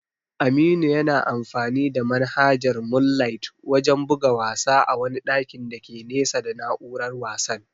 Aminu yana amfani da manhajar moonlight wajen buga wasa a wani ɗakin dake nesa da na'urar wasan.